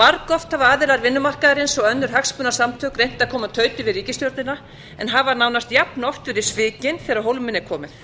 margoft hafa aðilar vinnumarkaðarins og önnur hagsmunasamtök reynt að koma tauti við ríkisstjórnina en hafa nánast jafnoft verið svikin þegar á hólminn er komið